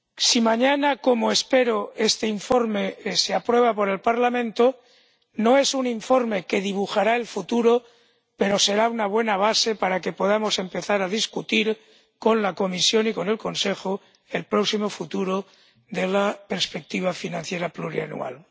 Si mañana ‒como espero‒ este informe es aprobado por el Parlamento, no es un informe que dibujará el futuro, pero será una buena base para que podamos empezar a debatir con la Comisión y con el Consejo el próximo futuro de la perspectiva financiera plurianual.